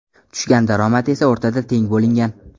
Tushgan daromad esa o‘rtada teng bo‘lingan.